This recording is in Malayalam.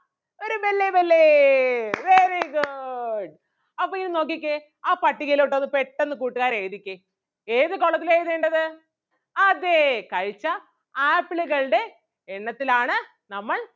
ഒരു ബെല്ലേ ബെല്ലേ very good അപ്പൊ ഇനി നോക്കിക്കേ ആ പട്ടികയിലോട്ട് ഒന്ന് പെട്ടന്ന് കൂട്ടുകാര് എഴുതിക്കേ ഏത് column ത്തിലാ എഴുതേണ്ടത് അതേ കഴിച്ച ആപ്പിളുകളുടെ എണ്ണത്തിലാണ് നമ്മൾ